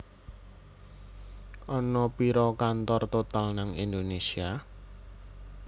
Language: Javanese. Ana piro kantor Total nang Indonesia